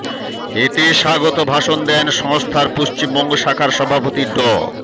এতে স্বাগত ভাষণ দেন সংস্থার পশ্চিমবঙ্গ শাখার সভাপতি ড